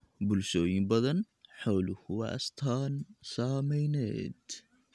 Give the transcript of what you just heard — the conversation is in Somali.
Bulshooyin badan, xooluhu waa astaan ??saamayneed.